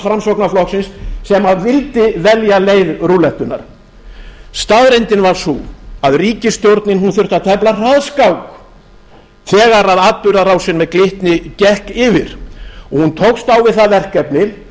framsóknarflokksins sem vildi velja leið rúllettunnar staðreyndin var sú að ríkisstjórnin þurfti að tefla hraðskák þegar atburðarásin með glitni gekk yfir hún tókst á við það verkefni